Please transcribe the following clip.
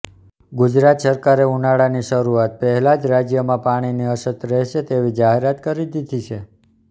ગુજરાત સરકારે ઉનાળાની શરુઆત પહેલા જ રાજ્યમાં પાણીની અછત રહેશે તેવી જાહેરાત કરી દીધી છે